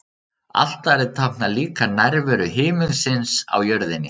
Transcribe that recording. Altarið táknar líka nærveru himinsins á jörðinni.